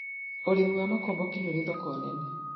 ũrĩmi wa makomboki nĩ ũri thoko nene